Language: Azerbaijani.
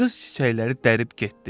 Qız çiçəkləri dərib getdi.